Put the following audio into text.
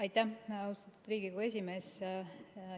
Aitäh, austatud Riigikogu esimees!